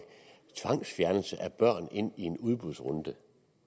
tvangsfjernelse af børn ind i en udbudsrunde